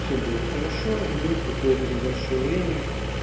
все было хорошо и вдруг какое-то небольшое время